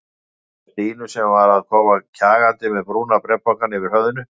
Sneri sér að Stínu sem var að koma kjagandi með brúna bréfpokann yfir höfðinu.